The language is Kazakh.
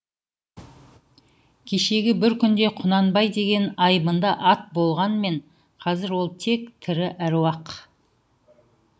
кешегі бір күнде құнанбай деген айбынды ат болғанмен қазір ол тек тірі әруақ